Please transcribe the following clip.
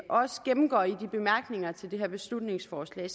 også gennemgår i bemærkningerne til det her beslutningsforslag